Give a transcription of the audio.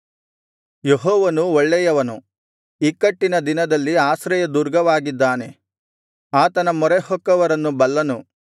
ಯೆಹೋವನು ಒಳ್ಳೆಯವನು ಇಕ್ಕಟ್ಟಿನ ದಿನದಲ್ಲಿ ಆಶ್ರಯದುರ್ಗವಾಗಿದ್ದಾನೆ ತನ್ನ ಮೊರೆಹೊಕ್ಕವರನ್ನು ಬಲ್ಲನು